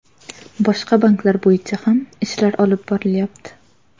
Boshqa banklar bo‘yicha ham ishlar olib borilyapti.